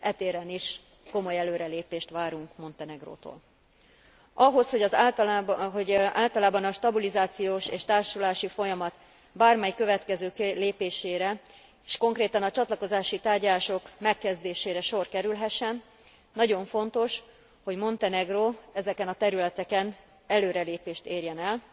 E téren is komoly előrelépést várunk Montenegrótól. Ahhoz, hogy általában a stabilizációs és társulási folyamat bármely következő lépésére, s konkrétan a csatlakozási tárgyalások megkezdésére sor kerülhessen, nagyon fontos, hogy Montenegró ezeken a területeken előrelépést érjen el,